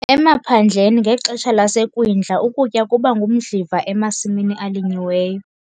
Emaphandleni ngexesha laseKwindla ukutya kuba ngumdliva emasimini alinyiweyo.